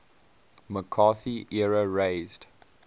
mccarthy era raised